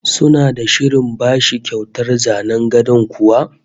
Suna da shirin bashi kyautar zanen gadon kuwa?